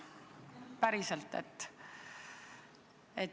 Päriselt.